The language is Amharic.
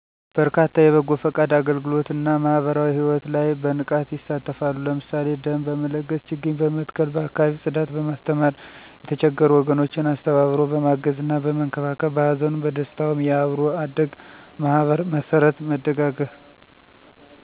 በርካታ የበጎ ፈቃድ አገልግሎት እና ማህበራዊ ሕይወት ላይ በንቃት ይሳተፋሉ። ለምሳሌ ደም በመለገስ፣ ችግኝ በመትከል፣ በአካባቢ ፅዳት፣ በማስተማር፣ የተቸገሩ ወገኖችን አስተባብሮ በማገዝና በመንከባከብ፣ በሀዘኑም በደስታውም የአብሮ አደግ ማህበር መስርት መደጋገፍ